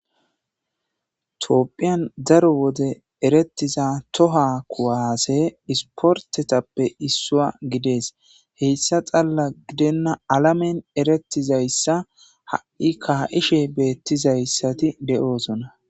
topphiyan daro wode erettiza toha kuwase isportetappe issua gidees heyssa xalla gidenna alamen erettizayssa ha7i kaa7ishe beettizayssati de7oosona